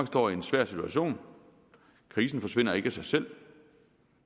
står i en svær situation krisen forsvinder ikke af sig selv